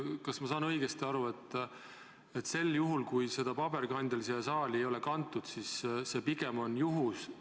Kas ma saan õigesti aru, et see, kui seda paberkandjal siia saali ei ole toodud, on pigem juhus?